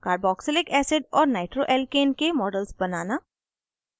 * carboxylic acid और nitroalkane के models बनाना